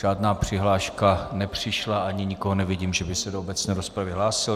Žádná přihláška nepřišla ani nikoho nevidím, že by se do obecné rozpravy hlásil.